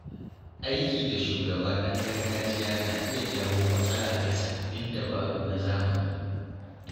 Aiki da shugaba ɗan gargajiya na iya jawo matsala ga sabbin dabaru na zamani.